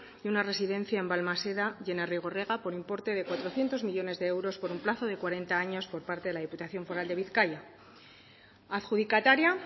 de una residencia en balmaseda y en arrigorriaga por importe de cuatrocientos millónes de euros por un plazo de cuarenta años por parte de la diputación foral de bizkaia adjudicataria